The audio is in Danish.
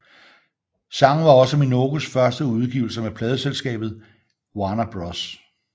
Sangen var også Minogues første udgivelse med pladeselskabet Warner Bros